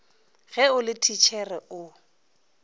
ge o le thitšhere o